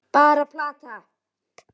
Bara plat.